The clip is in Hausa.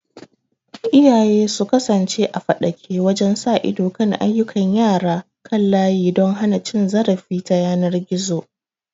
Iyaye su kasance a faɗake wajen sa ido kan ayyukan yara kan layi don hana cin zarafi ta yanar gizo.